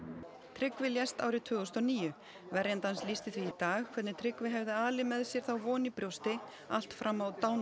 Tryggvi lést árið tvö þúsund og níu verjandi hans lýsti því í dag hvernig Tryggvi hafði alið með sér þá von í brjósti allt fram á